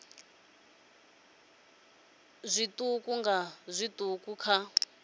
nga zwiṱuku nga zwiṱuku kha